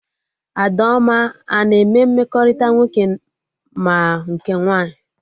Adaoma ana eme mmekọrịta nwoke ma nke nwaanyị?